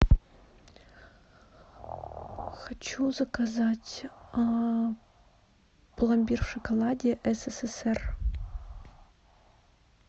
хочу заказать пломбир в шоколаде ссср